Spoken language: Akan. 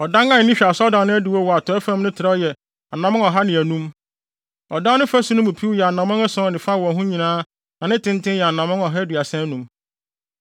Ɔdan a ani hwɛ asɔredan no adiwo wɔ atɔe fam no trɛw yɛ anammɔn ɔha ne anum. Ɔdan no fasu no mu piw yɛ anammɔn ason ne fa wɔ ho nyinaa na ne tenten yɛ anammɔn ɔha aduasa anum.